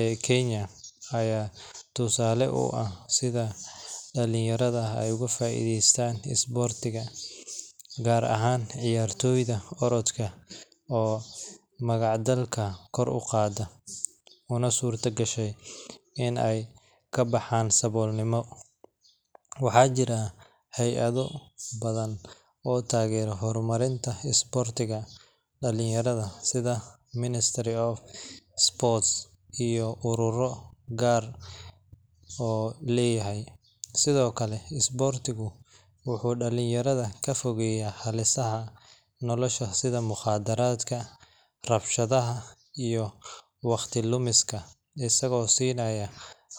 ee kenya ayaa tusaale u ah, gaar ahaan ciyaartoyga orodka, waxaa jiraa hayado oo tagero hor marinta dalinyarada, sido kale isboortigu wuxuu dalinyarada kafogeeya rabshaha iyo waqti lumiska.